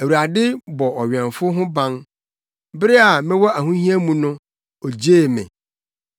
Awurade bɔ ɔwɛmfo ho ban; bere a mewɔ ahohia mu no, ogyee me.